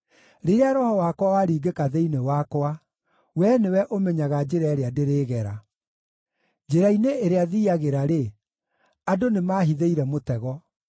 Rĩrĩa roho wakwa waringĩka thĩinĩ wakwa, Wee nĩwe ũmenyaga njĩra ĩrĩa ndĩrĩgera. Njĩra-inĩ ĩrĩa thiiagĩra-rĩ, andũ nĩmahithĩire mũtego.